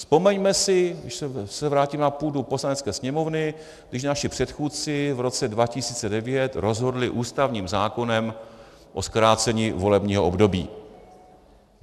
Vzpomeňme si, když se vrátím na půdu Poslanecké sněmovny, když naši předchůdci v roce 2009 rozhodli ústavním zákonem o zkrácení volebního období.